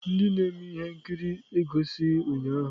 Ndị na-eme ihe nkiri egosighi ụnyahụ.